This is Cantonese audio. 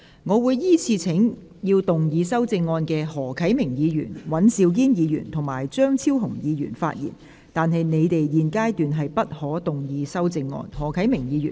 我會依次請要動議修正案的何啟明議員、尹兆堅議員及張超雄議員發言，但他們在現階段不可動議修正案。